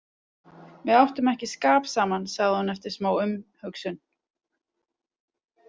Við áttum ekki skap saman, sagði hún eftir smá umhugsun.